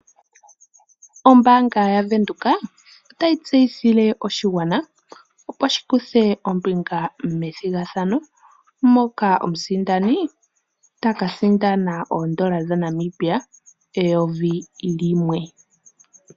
Ombaanga yaVenduka otayi tseyithile oshigwana sjikuthe ombinga methigathano moka omuntu taka sindana oondola dhaNamibia eyovi.